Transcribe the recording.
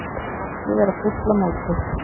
Ekki vera fúll á móti